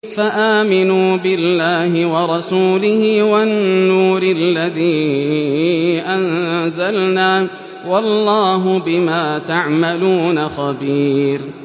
فَآمِنُوا بِاللَّهِ وَرَسُولِهِ وَالنُّورِ الَّذِي أَنزَلْنَا ۚ وَاللَّهُ بِمَا تَعْمَلُونَ خَبِيرٌ